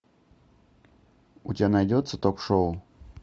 у тебя найдется ток шоу